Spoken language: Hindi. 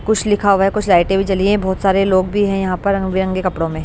कुछ लिखा हुआ है कुछ लाइटें भी जली हैं बहुत सारे लोग भी हैं यहाँ पर रंग बिरंगे कपड़ों में--